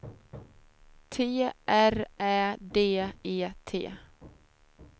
T R Ä D E T